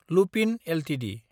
Lupin Ltd